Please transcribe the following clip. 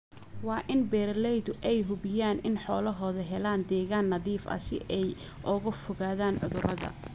Waa in beeralaydu ay hubiyaan in xoolahoodu helaan deegaan nadiif ah si ay uga fogaadaan cudurada.